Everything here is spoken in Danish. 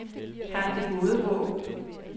Kap Det Gode Håb